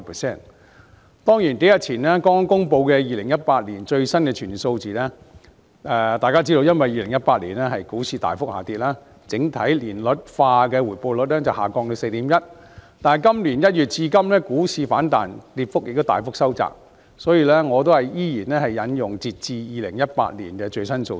雖然數天前剛公布的2018年最新的全年數字，由於2018年股市大幅下跌，整體年率化回報率下調至 4.1%， 但本年1月至今股市反彈，跌幅亦大幅收窄，所以我依然引用截至2018年的最新數字。